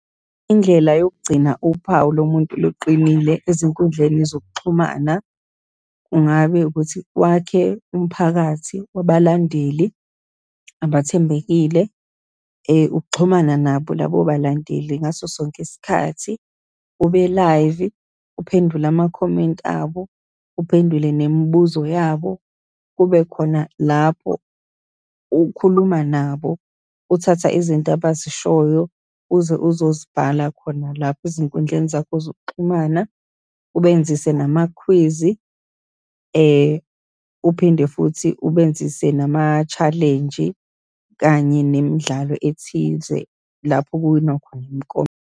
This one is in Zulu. Indlela yokugcina uphawu lo muntu luqinile ezinkundleni zokuxhumana. Kungabe ukuthi, wakhe umphakathi wabalandeli abathembekile, ukuxhumana nabo labo balandeli ngaso sonke isikhathi, ube live, uphendule amakhomenti abo, uphendule nemibuzo yabo, kube khona lapho ukhuluma nabo, uthatha izinto abazishoyo uze uzozibhala khona lapho ezinkundleni zakho zokuxhumana, ubenzise namakhwizi, uphinde futhi ubenzise nama-challenge-i, kanye nemidlalo ethize lapho kuwina khona .